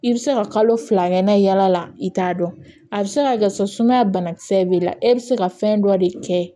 I bɛ se ka kalo fila kɛ n'a ye yaala la i t'a dɔn a bɛ se ka kɛ so sumaya banakisɛ b'i la e bɛ se ka fɛn dɔ de kɛ